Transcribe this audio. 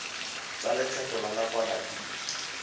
tsa lekgetho la nakwana di